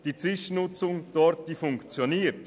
Die Zwischennutzung dort funktioniert.